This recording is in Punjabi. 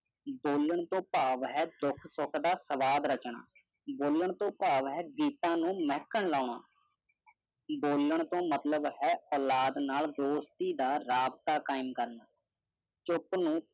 ਬੋਲਣ ਤੋਂ ਭਾਵ ਹੈ ਦੁੱਖ ਸੁਖ ਦਾ ਸਵਾਦ ਰਚਨਾ। ਬੋਲਣ ਤੋਂ ਭਾਵ ਹੈ ਗੀਤਾਂ ਨੂੰ ਮਹਕਾ ਲੋਨਾ। ਬੋਲਣ ਤੋਂ ਮਤਲਬ ਹੈ ਔਲਾਦ ਨਾਲ ਦੋਸਤੀ ਦਾ ਰਾਬਤਾ ਕਾਯਮ ਕਰਨਾ। ਚੁੱਪ ਨੂੰ